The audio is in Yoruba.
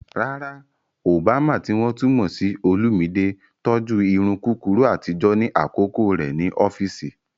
Rárá, Obama, tí wọ́n tún mọ̀ sí Olumide, tọ́jú irun kúkúrú àtijọ́ ní àkókò rẹ̀ ní ọ́fíìsì.